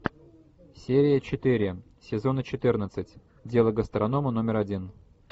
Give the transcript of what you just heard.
серия четыре сезона четырнадцать дело гастронома номер один